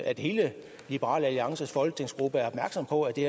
at hele liberal alliances folketingsgruppe er opmærksom på at det